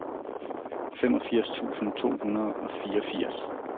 femogfirs tusind to hundrede og fireogfirs